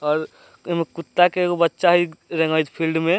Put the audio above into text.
और ओय में कुत्ता के एगो बच्चा हेय फील्ड में।